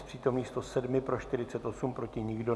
Z přítomných 107, pro 48, proti nikdo.